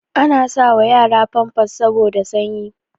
Ana sa wa yara famfas saboda sanyi